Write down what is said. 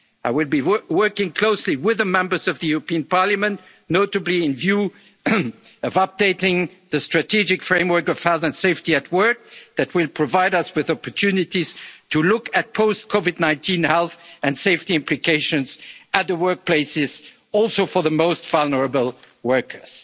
the years to come. I will be working closely with the members of the European Parliament, notably in view of updating the strategic framework of health and safety at work that will provide us with opportunities to look at post-COVID-19 health and safety implications at the workplace, including for the most